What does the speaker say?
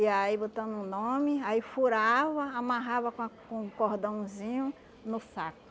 E aí botando o nome, aí furava, amarrava com a com cordãozinho no saco.